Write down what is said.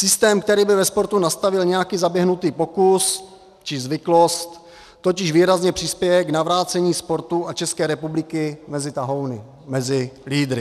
Systém, který by ve sportu nastavil nějaký zaběhnutý pokus či zvyklost, totiž výrazně přispěje k navrácení sportu a České republiky mezi tahouny, mezi lídry.